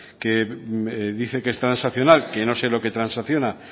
que dice que es transaccional que no sé lo que transacciona